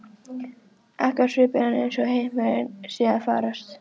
Ekki á svipinn eins og heimurinn sé að farast.